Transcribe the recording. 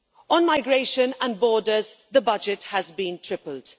On migration and borders, the budget has been tripled.